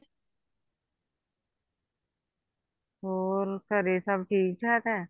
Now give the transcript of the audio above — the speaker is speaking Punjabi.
ਹੋਰ ਘਰੇ ਸਭ ਠੀਕ ਠਾਕ ਹੈ